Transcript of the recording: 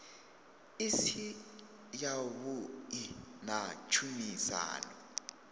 i si yavhuḓi na tshumisano